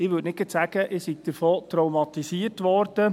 Ich würde nicht gerade sagen, ich sei davon traumatisiert worden.